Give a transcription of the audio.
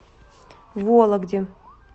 вологде